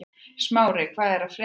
Smári, hvað er að frétta?